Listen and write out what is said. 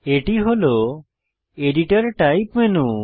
এটি হল editor type menu